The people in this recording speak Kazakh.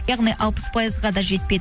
яғни алпыс пайызға да жетпейді